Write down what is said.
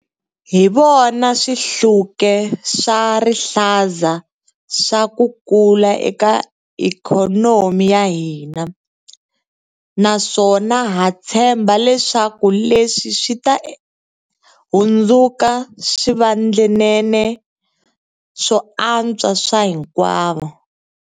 Hi vona swihluke swa rihlaza swa ku kula eka ikhonomi ya hina, naswona ha tshemba leswaku leswi swi ta hundzuka swivandlanene swo antswa swa hinkwavo.